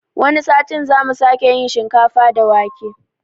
Wani satin zamu sake yin shinkafa da wake